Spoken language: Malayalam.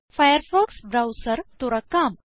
ഫയർഫോക്സ് ബ്രൌസർ തുറക്കാം